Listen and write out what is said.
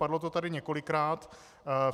Padlo to tady několikrát.